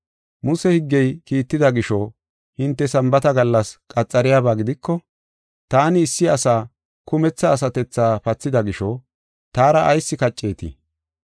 Muse higgey kiitida gisho, hinte Sambaata gallas qaxariyabaa gidiko, taani issi asa kumetha asatethaa pathida gisho, taara ayis kacceetii?